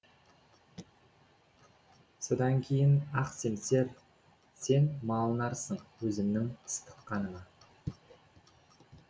содан кейін ақ семсер сен малынарсың өзімнің ыстық қаныма